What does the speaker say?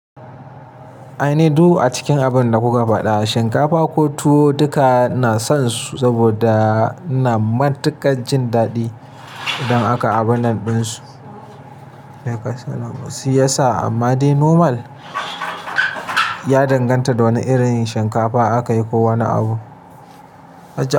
Ai ne du a cikin abin da kuka faɗa, shinkafa ko tuwo duka na son su, saboda ina matuƙar jin daɗi idan aka abona ɗinsu. Si yasa amma dai normal, ya danganta da wane irin shinkafa aka yi ko wane abu.